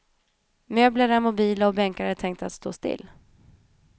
Möbler är mobila och bänkar är tänkta att stå still.